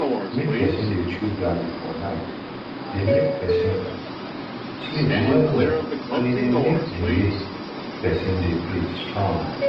make peson dey chew garlic for night dey make person sleep well well and e dey make di way person dey breath strong